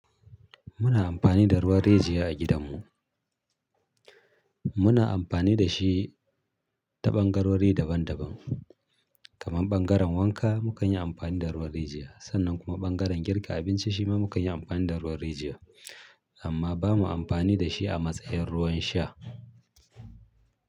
Muna amfani da ruwan rijiya a gidanmu. Muna amfani da shi ta ɓangarori daban daban. Kaman ɓangaren wanka mu kan yi amfani da ruwan rijiya, sannan kuma ɓangaren girka abinci shi ma mu kan yi amfani da ruwan rijiya. Amma ba mu amfani da shi a matsayin ruwan sha.